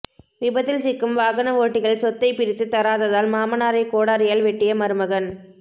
விபத்தில் சிக்கும் வாகனஓட்டிகள் சொத்தை பிரித்து தராததால் மாமனாரை கோடாரியால் வெட்டிய மருமகன்